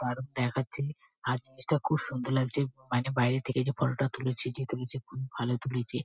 দারুন দেখাচ্ছে। আর জিনিসটা খুব সুন্দর লাগছে মানে বাইরে থেকে যে ফটো -টা তুলেছে যে তুলেছে খুব ভালো তুলেছে।